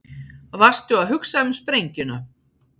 Varstu að hugsa um sprengjuna?